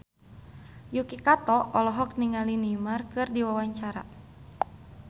Yuki Kato olohok ningali Neymar keur diwawancara